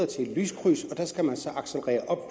til et lyskryds